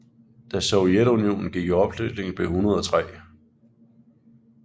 Da Sovjetunionen gik i opløsning blev 103